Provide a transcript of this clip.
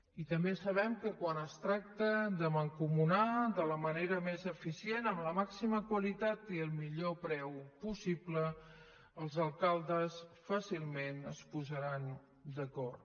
i també sabem que quan es tracta de mancomunar de la manera més eficient amb la màxima qualitat i el millor preu possible els alcaldes fàcilment es posaran d’acord